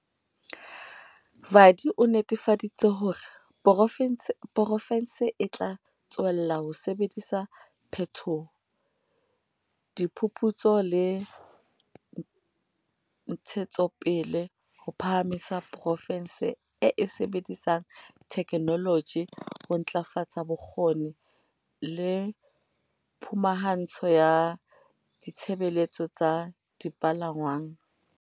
Vadi o netefaditse hore poro fense e tla tswella ho sebedisa phethoho, diphuphutso le ntshetsopele ho phahamisa porofense e e sebedisang theke noloji ho ntlafatsa bokgoni le phumahantsho ya ditshebeletso tsa dipalangwang.